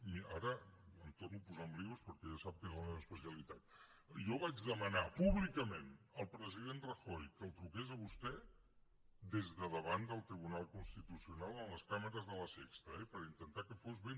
ara em torno a posar en embolics perquè ja sap que és la meva especialitat jo vaig demanar públicament al president rajoy que li truqués a vostè des de davant del tribunal constitucional amb les càmeres de la sexta eh per intentar que fos ben